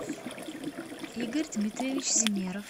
игорь дмитриевич земеров